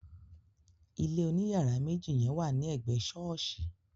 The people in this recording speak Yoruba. Ilé oní yàrá méjì yen wà ní ègbé sọ́ọ̀sì